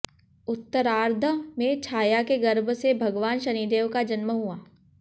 उत्तरार्द्ध में छाया के गर्भ से भगवान शनिदेव का जन्म हुआ